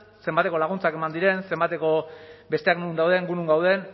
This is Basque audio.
zenbateko laguntzak eman diren zenbateko besteak non dauden gu non gauden